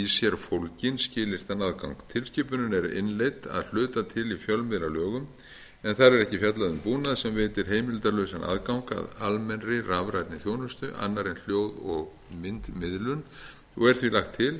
sér fólginn skilyrtan aðgang tilskipunin er innleidd að hluta til í fjölmiðlalögum en þar er ekki fjallað um búnað sem veitir heimildarlausan aðgang að almennri rafrænni þjónustu annarri en hljóð og myndmiðlun og er því lagt til